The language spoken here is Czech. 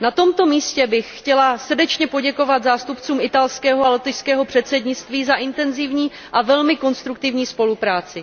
Na tomto místě bych chtěla srdečně poděkovat zástupcům italského a lotyšského předsednictví za intenzivní a velmi konstruktivní spolupráci.